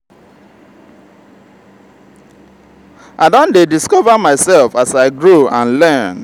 i don dey discover myself as i grow and learn.